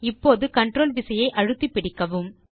இப்போது கன்ட்ரோல் விசையை அழுத்தி பிடிக்கவும்